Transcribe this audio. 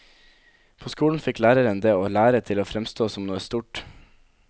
På skolen fikk læreren det å lære til å fremstå som noe stort.